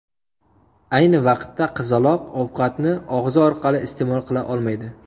Ayni vaqtda qizaloq ovqatni og‘zi orqali iste’mol qila olmaydi.